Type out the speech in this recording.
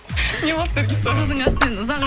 не болды наргиз саған судың астымен ұзақ